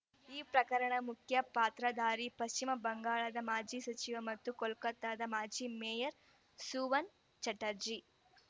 ಈ ಪ್ರಕರಣದ ಮುಖ್ಯ ಪಾತ್ರಧಾರಿ ಪಶ್ಚಿಮ ಬಂಗಾಳದ ಮಾಜಿ ಸಚಿವ ಮತ್ತು ಕೋಲ್ಕತಾದ ಮಾಜಿ ಮೇಯರ್‌ ಸೂವನ್‌ ಚಟರ್ಜಿ